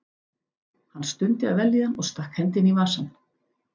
Hann stundi af vellíðan og stakk hendinni í vasann.